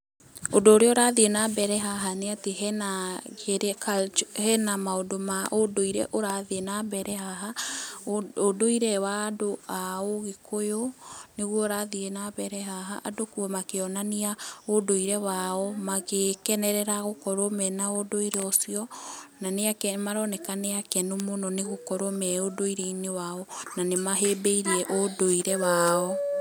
Ũndũ ũrĩa ũrathiĩ na mbere haha nĩ atĩ hena kĩrĩa maũndũ ma ũndũire ũrĩa ũrathiĩ na mbere haha, ũndũire wa andũ a ũgĩkũyũ nĩguo ũrathiĩ na mbere haha, andũ makĩonania ũndũire wao, magĩkenerera gũkorwo mena ũndũire ũcio na nĩ ake, maroneka nĩ akenu mũno gũkorwo me ũndũire-inĩ wao na nĩ mahĩmbĩirie ũndũire wao.